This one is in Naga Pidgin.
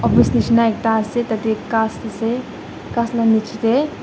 nishena ekta ase tade ghas ase ghas la nichey de--